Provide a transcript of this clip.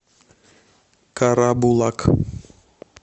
карабулак